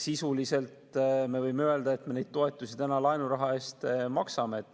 Sisuliselt me võime öelda, et me neid toetusi täna laenuraha eest maksame.